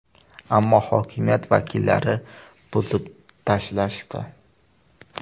Ammo hokimiyat vakillari buzib tashlashdi.